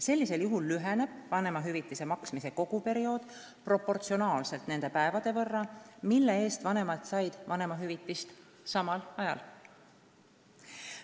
Sellisel juhul lüheneb vanemahüvitise maksmise koguperiood proportsionaalselt nende päevade võrra, mille eest vanemad said vanemahüvitist samal ajal.